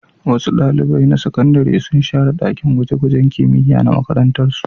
Wasu ɗalibai na sakandare sun share ɗakin gwaje-gwajen kimiyya na makarantarsu.